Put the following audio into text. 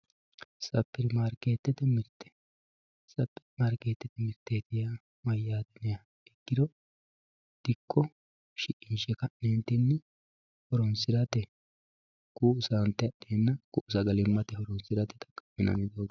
Supermarketete mirte supermarketete mirte yaa mayate ikkiro dikko shiqinshe kanentini horonsirate ku`u sante adhena ku`u sagalimate horonsinani doogoti.